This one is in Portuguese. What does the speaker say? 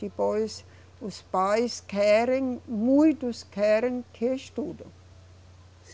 Depois, os pais querem, muitos querem que estudem.